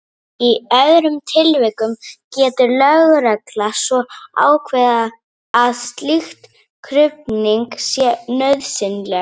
Í öðrum tilvikum getur lögregla svo ákveðið að slík krufning sé nauðsynleg.